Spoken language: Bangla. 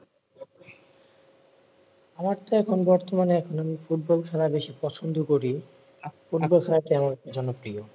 আমার তো এখন আপনার বর্তমানে ফুটবল খেলা বেশি পছন্দ করি ফুটবল খেলা চেয়ে আমার কাছে প্রিয়